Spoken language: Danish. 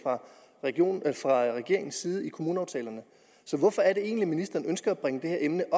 nogen fra regeringens side i kommuneaftalerne så hvorfor er det egentlig at ministeren ønsker at bringe det her emne